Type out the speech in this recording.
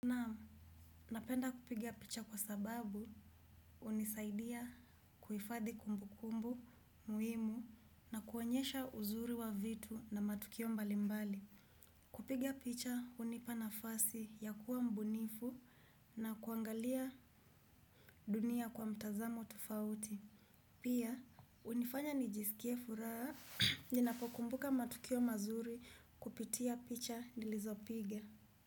Naam, napenda kupiga picha kwa sababu hunisaidia kuifadhi kumbu kumbu, muhimu na kuonyesha uzuri wa vitu na matukio mbali mbali. Kupigia pichah unipana fasi ya kuwa mbunifu na kuangalia dunia kwa mtazamo tufauti. Pia, hunifanya nijisikie furaha ninapokumbuka matukio mazuri kupitia picha nilizopiga.